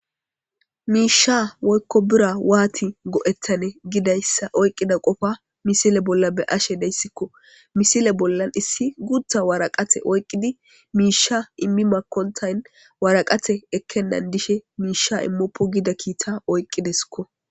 miisha woykko bira waati go7ettane gidayssa oyqqida qofa misile bolla be'ashe dayssikko misile bollan issi gutta waraqate oyqqidi miisha immi makontayn waraqate ekkennan dishe miisha immoppo gida kiita oyqqideskko